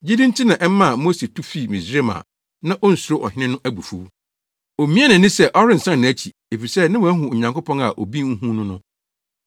Gyidi nti na ɛmaa Mose tu fii Misraim a na onsuro ɔhene no abufuw. Omiaa nʼani sɛ ɔrensan nʼakyi, efisɛ na wahu Onyankopɔn a obi nhu no no.